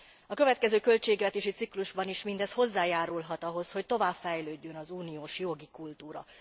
A következő költségvetési ciklusban is mindez hozzájárulhat ahhoz, hogy tovább fejlődjön az uniós jogi kultúra.